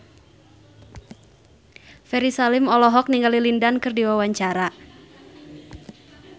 Ferry Salim olohok ningali Lin Dan keur diwawancara